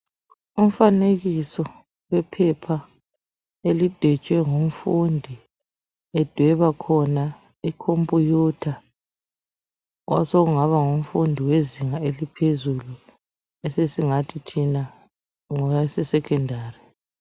Umfanekiso wephepha elidwetshwe ngumfundi. Edweba khona ikhomputha osokungaba ngumfundi wezinga eliphezulu. Esesingathi thina ngowase sekhondari.